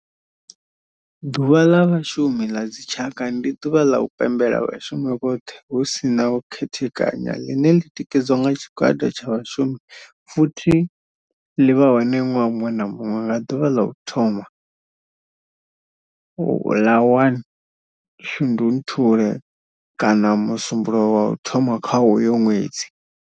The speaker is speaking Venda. Ḓuvha la Vhashumi la dzi tshaka, ndi duvha la u pembela vhashumi vhothe hu si na u khethekanya line li tikedzwa nga tshigwada tsha vhashumi futhi li vha hone nwaha munwe na munwe nga duvha la u thoma la 1 Shundunthule kana musumbulowo wa u thoma kha uyo nwedzi.